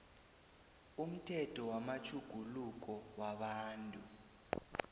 umthetho wamatjhuguluko wabantu